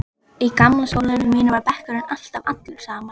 Í gamla skólanum mínum var bekkurinn alltaf allur saman.